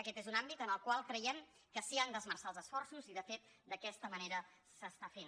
aquest és un àmbit en el qual creiem que s’hi han d’esmerçar els esforços i de fet d’aquesta manera s’està fent